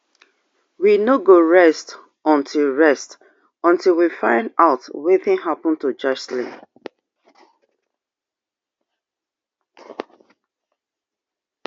we no go rest until rest until we find [out] wetin happun to joshlin